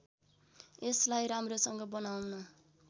यसलाई राम्रोसँग बनाउन